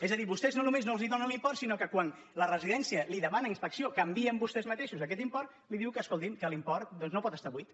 és a dir vostès no només no els donen l’import sinó que quan la residència li demana ins·pecció que envien vostès mateixos aquest import li diu que escolti que l’import doncs no pot estar buit